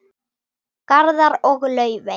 Garðar og Laufey.